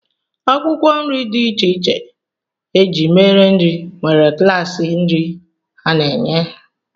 Akwụkwọ nri dị iche iche e ji mere nri nwere klaasị nri ha na-enye